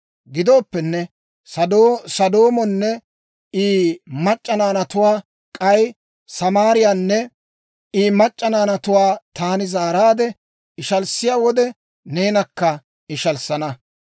«‹ «Gidooppenne, Sodoomonne I mac'c'a naanatuwaa, k'ay Samaariyaanne I mac'c'a naanatuwaa taani zaaraadde ishalissiyaa wode, neenakka ishalissana.